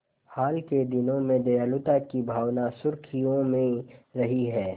हाल के दिनों में दयालुता की भावना सुर्खियों में रही है